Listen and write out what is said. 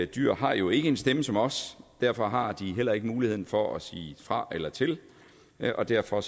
dyr har jo ikke en stemme som os og derfor har de heller ikke mulighed for at sige fra eller til og derfor